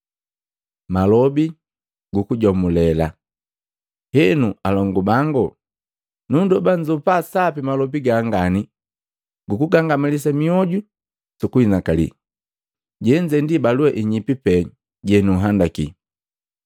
Henu, alongu bangu, nundoba nnzopa sapi malobi gangani guku nngangamalisa mioju su kuhinakali. Jenze ndi balua inyipi pee jenununhandaki.